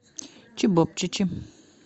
чевапчичи